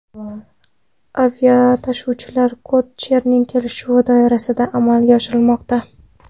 Aviatashuvlar kod-shering kelishuvi doirasida amalga oshirilmoqda.